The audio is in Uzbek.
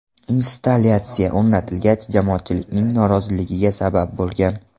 Installyatsiya o‘rnatilgach, jamoatchilikning noroziligiga sabab bo‘lgan.